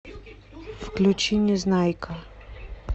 включи незнайка